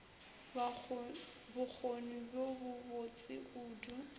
bokgoni bjo bo botse kudu